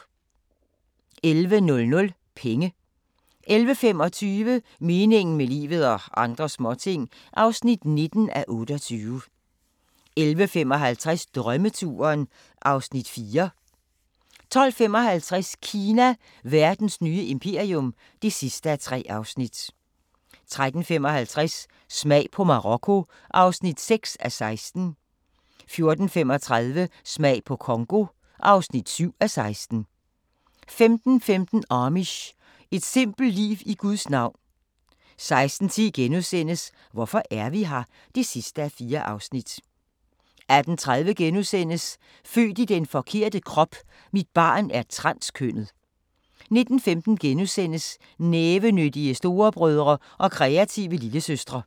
11:00: Penge 11:25: Meningen med livet – og andre småting (19:28) 11:55: Drømmeturen (Afs. 4) 12:55: Kina – verdens nye imperium (3:3) 13:55: Smag på Marokko (6:16) 14:35: Smag på Congo (7:16) 15:15: Amish – et simpelt liv i Guds navn 16:10: Hvorfor er vi her? (4:4)* 18:30: Født i den forkerte krop: Mit barn er transkønnet * 19:15: Nævenyttige storebrødre og kreative lillesøstre *